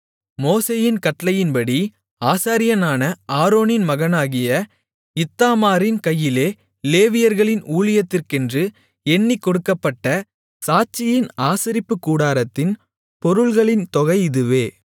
மோசேயின் கட்டளைப்படி ஆசாரியனான ஆரோனின் மகனாகிய இத்தாமாரின் கையிலே லேவியர்களின் ஊழியத்திற்கென்று எண்ணிக் கொடுக்கப்பட்ட சாட்சியின் ஆசரிப்புக்கூடாரத்தின் பொருள்களின் தொகை இதுவே